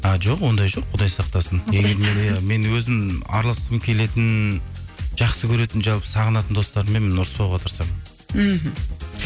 а жоқ ондай жоқ құдай сақтасын мен өзім араласқым келетін жақсы көретін жалпы сағынатын достарыммен мен ұрыспауға тырысамын мхм